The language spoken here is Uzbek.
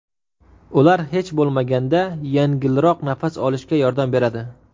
Ular hech bo‘lmaganda yengilroq nafas olishga yordam beradi.